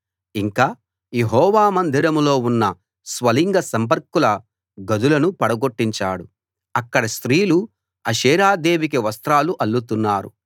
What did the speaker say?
ఇంకా యెహోవా మందిరంలో ఉన్న స్వలింగ సంపర్కుల గదులను పడగొట్టించాడు అక్కడ స్త్రీలు అషేరాదేవికి వస్త్రాలు అల్లుతున్నారు